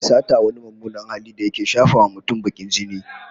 Sata wani mummunan hali da yake shafawa mutum bakin jini